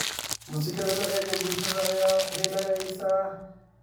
Musikadha laciyaro bulshada aya haleysa.